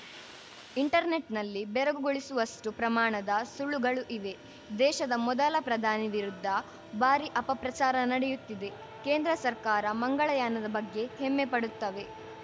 ಇಂಟರ್ನೆಟ್‌ನಲ್ಲಿ ಬೆರಗುಗೊಳಿಸುವಷ್ಟುಪ್ರಮಾಣದ ಸುಳ್ಳುಗಳು ಇವೆ ದೇಶದ ಮೊದಲ ಪ್ರಧಾನಿ ವಿರುದ್ಧ ಭಾರಿ ಅಪಪ್ರಚಾರ ನಡೆಯುತ್ತಿದೆ ಕೇಂದ್ರ ಸರ್ಕಾರ ಮಂಗಳಯಾನದ ಬಗ್ಗೆ ಹೆಮ್ಮೆ ಪಡುತ್ತವೆ